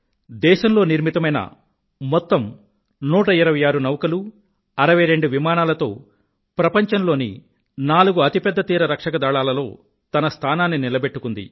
దేశంలో నిర్మితమైన మొత్తం 126 నౌకలు 62 విమానాలతో ప్రపంచంలోని నాలుగు అతిపెద్ద తీరరక్షక దళాలలో తన స్థానాన్ని నిలబెట్టుకుంది